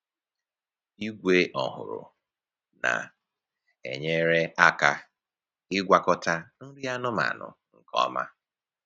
Igwe ọhụrụ na-enyere aka ịgwakọta nri anụmanụ nke ọma.